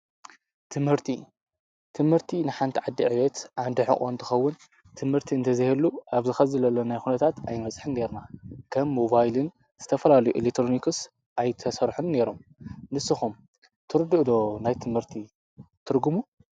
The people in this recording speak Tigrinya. ትምህርቲ፦ ትምህርቲ ንሓንቲ ዓዲ ዕቤት ዓንዲ ሑቐ እንትኸውን ትምህርቲ እንተዘይህሉ ኣብዚ ሕዚ ዘለናዮ ኩነታት ኣይንበፅሕን ኔርና፡፡ ከም ሞባይልን ዝተፈላለዩ ኤሌክትሮኒክስ ኣይምተሰርሑን ነይሮም፡፡ ንስኩም ከ ትርድኡ ዶ ናይ ትምህርቲ ትርጉሙ?